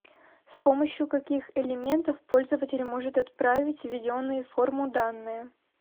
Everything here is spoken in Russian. с помощью каких элементов пользователь может отправить введенные в форму данные